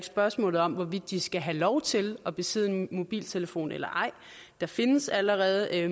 spørgsmål om hvorvidt de skal have lov til at besidde en mobiltelefon eller ej der findes allerede i